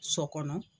Sɔ kɔnɔ